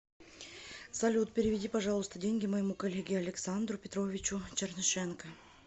салют переведи пожалуйста деньги моему коллеге александру петровичу чернышенко